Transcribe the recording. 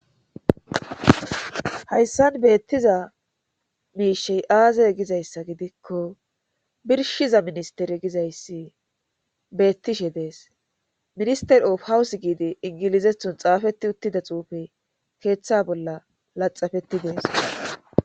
Hayssan beettiza miishey aazey gizayssa gidikko birshiza ministere gizayssi beettishe dees minister of hawuss giide ingilizethon xaafetti uttida xuufe keeththa bolla laxafetti dees